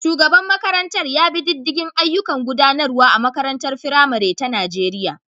Shugaban makarantar ya bi diddigin ayyukan gudanarwa a makarantar firamare ta Najeriya.